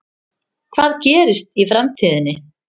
Hvað gerist í framtíðinni?